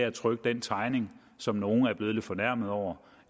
at trykke den tegning som nogle er blevet lidt fornærmet over